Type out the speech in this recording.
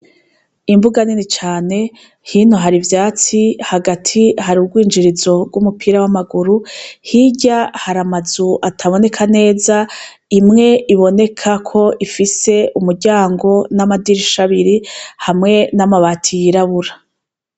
Imbuga nini cane. Hino hari ivyatsi, hagati hari urwinjirizo rw'umupira w'amaguru , hirya hari amazu ataboneka neza, imwe iboneka ko ifise umuryango n'amadisha abiri n'amabati hamwe n'amabati yirabura.